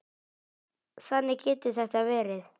Þannig getur þetta verið.